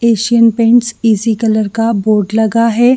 Asian paint easy colour का board लगा है।